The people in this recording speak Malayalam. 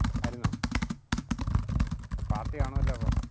ആരുന്നോ? party കാണുമല്ലോ അപ്പൊ?